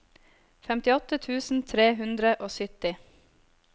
femtiåtte tusen tre hundre og sytti